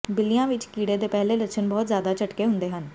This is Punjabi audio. ਬਿੱਲੀਆਂ ਵਿਚ ਕੀੜੇ ਦੇ ਪਹਿਲੇ ਲੱਛਣ ਬਹੁਤ ਜ਼ਿਆਦਾ ਝਟਕੇ ਹੁੰਦੇ ਹਨ